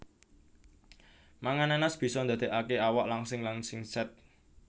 Mangan nanas bisa ndadekaké awak langsing lan singset